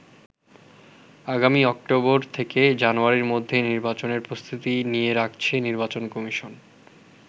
আগামী অক্টোবর থেকে জানুয়ারির মধ্যে নির্বাচনের প্রস্তুতি নিয়ে রাখছে নির্বাচন কমিশন।